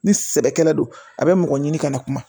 Ni sɛbɛkɛla don a be mɔgɔ ɲini ka na kuma